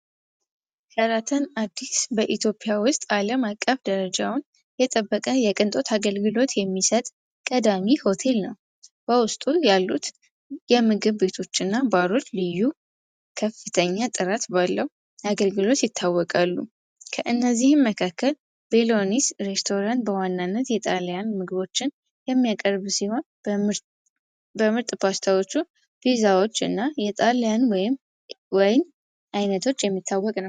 ሸራተን አዲስ በኢትዮጵያ ውስጥ ዓለም አቀፍ ደረጃውን የጠበቀ የቅንጦት አገልግሎት የሚሠጥ ቀዳሚ ሆቴል በውስጡ ያሉት የምግብ ቤቶችና ባሮች ልዩ አገልግሎት ይታወቃሉ ከእነዚህ መካከል ሬስቶራንት በዋናነት የጣሊያን ምግቦችን የሚያቀርብ ዜማ በምርጫዎቹ ቪዛዎች እና የጣልያን ወይም አይነቶች የሚታወቀ ነው።